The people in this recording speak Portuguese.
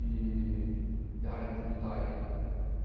e da área de tributária.